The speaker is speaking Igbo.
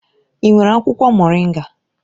I nwere akwụkwọ moringa?